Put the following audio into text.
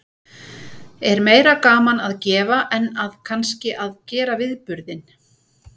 Er meira gaman að gefa en að kannski að gera viðburðinn?